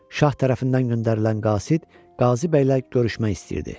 Şah tərəfindən göndərilən Qasid Qazi bəylə görüşmək istəyirdi.